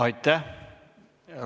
Aitäh!